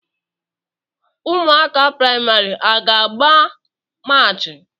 Ụmụaka praịmarị a ga-agba maachi?